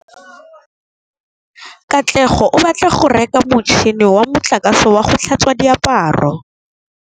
Katlego o batla go reka motšhine wa motlakase wa go tlhatswa diaparo.